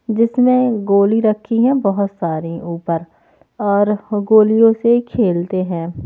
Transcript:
जिसमें गोली रखी हैं बहुत सारी ऊपर और गोलियों से खेलते हैं।